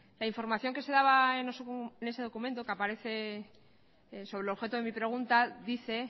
la información que se daba en ese documento que aparece sobre el objeto de mi pregunta dice